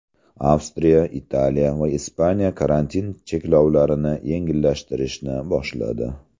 Avstriya , Italiya va Ispaniya karantin cheklovlarini yengillashtirishni boshladi.